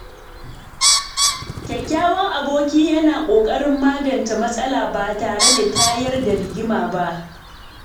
Kyakkyawan aboki yana kokarin magance matsala ba tare da tayar da rigima ba.